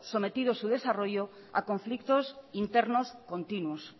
sometido su desarrollo a conflictos internos continuos